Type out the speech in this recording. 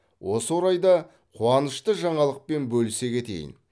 осы орайда қуанышты жаңалықпен бөлісе кетейін